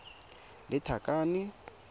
lethakane